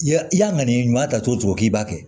I ya i ka ŋaniya ɲuman ta cogo k'i b'a kɛ